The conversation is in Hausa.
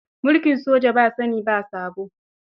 Mulkin soja ba sani ba sabo.